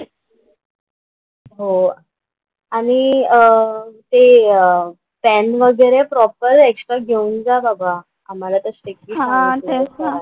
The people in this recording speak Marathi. हो आणि अं ते पेन वगैरे प्रॉपर एक्स्ट्रा घेऊन जा बाबा. आम्हाला तर स्ट्रिक्टली सांगितलं आहे सरांनी.